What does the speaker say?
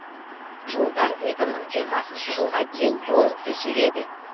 жолдар екі мың жиырмасыншы жылға дейін толық төселеді